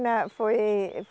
Na, foi